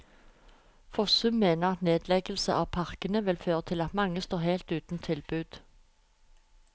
Fossum mener at nedleggelse av parkene vil føre til at mange står helt uten tilbud.